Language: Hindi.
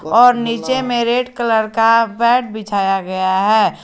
और नीचे में रेड कलर का मैट बिछाया गया है।